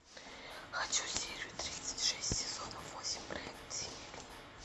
хочу серию тридцать шесть сезона восемь проект синяя книга